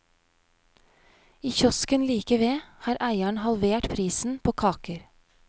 I kiosken like ved har eieren halvert prisen på kaker.